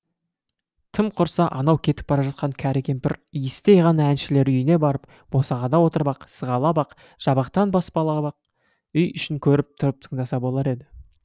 тым құрса анау кетіп бара жатқан кәрі кемпір иістей ғана әншілер үйіне барып босағада отырып ақ сығалап ақ жабықтан баспалап ақ үй ішін көріп тұрып тыңдаса болар еді